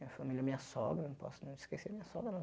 Minha família, minha sogra, não posso não esquecer minha sogra não.